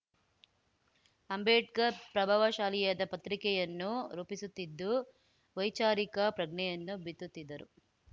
ಅಂಬೇಡ್ಕರ್ ಪ್ರಭಾವಶಾಲಿಯಾದ ಪತ್ರಿಕೆಯನ್ನು ರೂಪಿಸುತ್ತಿದ್ದು ವೈಚಾರಿಕ ಪ್ರಜ್ಞೆಯನ್ನು ಬಿತ್ತುತ್ತಿದ್ದರು